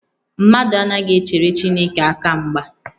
Mmadụ anaghị echere Chineke aka mgba